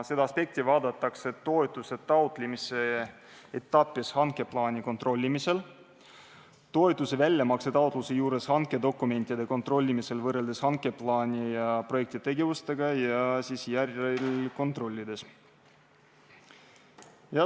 Seda aspekti vaadatakse toetuse taotlemise etapis hankeplaani kontrollimisel, toetuse väljamakse taotluse juures hankedokumentide kontrollimisel võrreldes hankeplaani projekti tegevustega ja siis järelkontrollides.